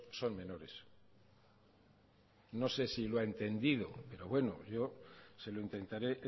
son menores no sé si lo ha entendido pero bueno yo se lo intentaré